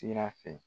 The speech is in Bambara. Sira fɛ